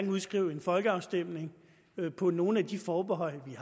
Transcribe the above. udskrive en folkeafstemning på nogle af de forbehold vi